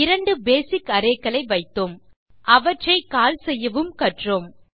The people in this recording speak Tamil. இரண்டு பேசிக் அரே களை வைத்தோம் அவற்றை கால் செய்யவும் கற்றோம்